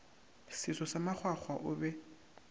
seso sa makgwakgwa o be